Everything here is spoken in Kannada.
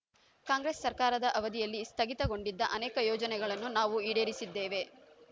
ಕಾಂಗ್ರೆಸ್ ಸರ್ಕಾರದ ಅವಧಿಯಲ್ಲಿ ಸ್ಥಗಿತಗೊಂಡಿದ್ದ ಅನೇಕ ಯೋಜನೆಗಳನ್ನು ನಾವು ಈಡೇರಿಸಿದ್ದೇವೆ